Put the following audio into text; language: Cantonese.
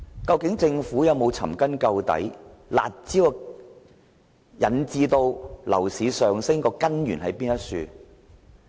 究竟政府有否尋根究底，"辣招"導致樓價上升的根源為何？